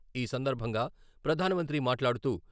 ఈ సందర్భంగా ప్రధాన మంత్రి మాట్లాడుతూ..